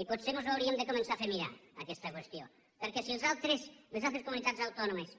i potser ens ho hauríem de començar a fer mirar aquesta qüestió perquè si les altres comunitats autònomes